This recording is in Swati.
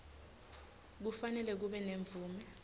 kufanele kube nemvume